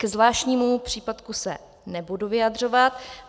Ke zvláštnímu příplatku se nebudu vyjadřovat.